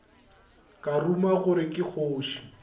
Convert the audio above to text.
ka ruma gore ke kgoši